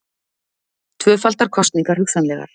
Tvöfaldar kosningar hugsanlegar